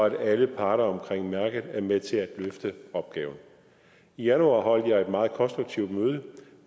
at alle parter omkring mærket er med til at løfte opgaven i januar holdt jeg et meget konstruktivt møde